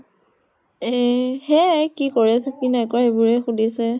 এ সেইয়া য়ে কি কৰিছে কি নাই কৰা সেইবোৰে সুধিছে ।